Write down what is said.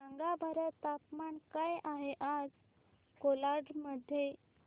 सांगा बरं तापमान काय आहे आज कोलाड मध्ये